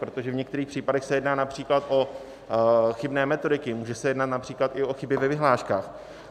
Protože v některých případech se jedná například o chybné metodiky, může se jednat například i o chyby ve vyhláškách.